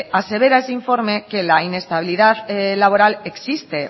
asevera ese informe que la inestabilidad laboral existe